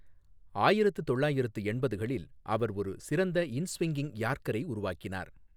ஆயிரத்து தொள்ளாயிரத்து எண்பதுகளில் அவர் ஒரு சிறந்த இன்ஸ்விங்கிங் யார்க்கரை உருவாக்கினார்.